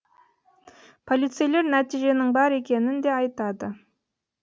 полицейлер нәтиженің бар екенін де айтады